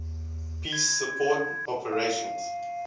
peace support operations